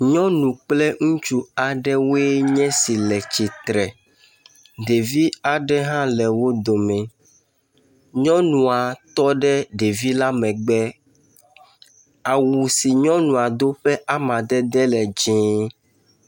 Nyɔnu kple ŋutsu aɖewoe nye si le tsitre, ɖevi aɖe hã le wo dome, nyɔnua tɔ ɖe ɖevi la megbe, awu si nyɔnua do ƒe amadede la dzɛ̃e.